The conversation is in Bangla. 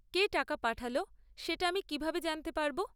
কে টাকা পাঠাল সেটা আমি কীভাবে জানতে পারব?